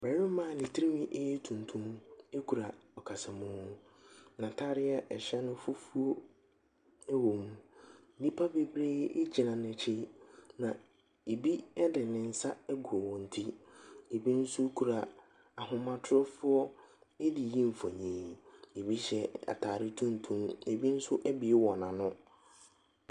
Barima a ne tiri ho yɛ tuntum kura ɔkasamu. N'atareɛ no a ɛhyɛ no fufuo wom. Nnipa bebree gyina n'akyi, na ebi de ne nsa agu wɔn ti. Ebi nso kura ahomatorofoɔ de reyi mfonin. Ebi hyɛ atare tuntum, ebi nso abue wɔn ano.